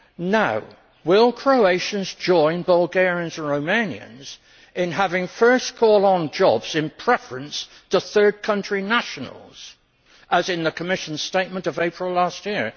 Now, will Croatians join Bulgarians and Romanians in having first call on jobs in preference to third country nationals, as in the Commissionʼs statement of April last year?